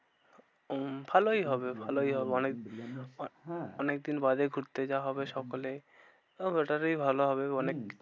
হম ভালোই হবে ভালোই হবে। অনেক বিরিয়ানি হ্যাঁ অনেকদিন বাদে ঘুরতে যাওয়া হবে সকলে ওটাতেই ভালো হবেগো হম অনেক